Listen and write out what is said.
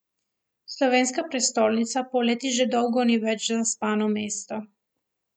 Slovenska prestolnica poleti že dolgo ni več zaspano mesto.